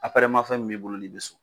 Aparɛma fɛn min b'i bolo ni bi so